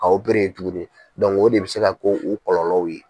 Ka yen tuguni o de bɛ se ka ko o kɔlɔlɔw ye.